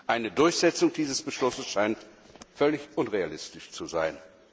Eine Durchsetzung dieses Beschlusses scheint völlig unrealistisch zu sein.